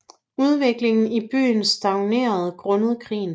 Udvikling i byen stagnerede grundet krigen